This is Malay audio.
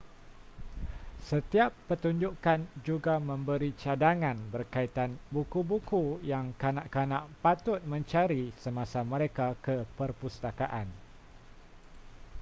setiap pertunjukkan juga memberi cadangan berkaitan buku-buku yang kanak-kanak patut mencari semasa mereka ke perpustakaan